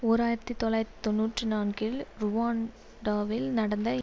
ஓர் ஆயிரத்தி தொள்ளாயிரத்தி தொன்னூற்றி நான்கில் ருவாண்டாவில் நடந்த